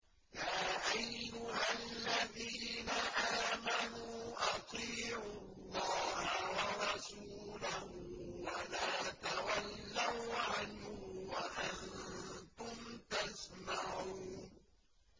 يَا أَيُّهَا الَّذِينَ آمَنُوا أَطِيعُوا اللَّهَ وَرَسُولَهُ وَلَا تَوَلَّوْا عَنْهُ وَأَنتُمْ تَسْمَعُونَ